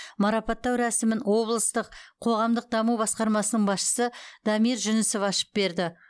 марапаттау рәсімін облыстық қоғамдық даму басқармасының басшысы дамир жүнісов ашып берді